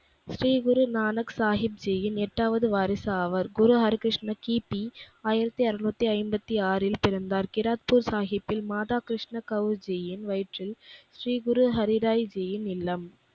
ஸ்ரீகுரு நானக் சாகிப்ஜியின் எட்டாவது வாரிசு ஆவர். குரு ஹரிகிருஷ்ணர் கி. பி ஆயிரத்தி ஆருநூத்தி ஐம்பத்தி ஆறில் பிறந்தார். கிராக்பூர் சாகிப்பில் மாதா கிருஷ்ண கௌசியின் வயிற்றில் ஸ்ரீ குரு ஹரிராய்ஜியின் இல்லம்.